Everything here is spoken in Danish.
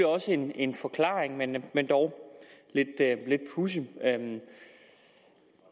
også en en forklaring men men dog lidt pudsigt